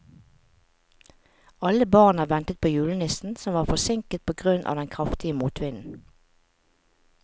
Alle barna ventet på julenissen, som var forsinket på grunn av den kraftige motvinden.